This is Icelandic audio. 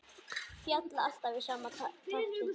Falla alltaf í sama takti.